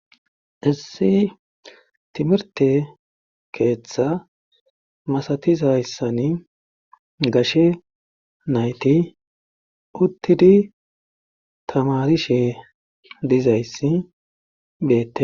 Issi timirtte keetha masatizayssani gashe nayti uttidi tamaarishe dizayssi beetee.